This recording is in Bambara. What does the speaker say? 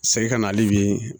Segin kana ale bi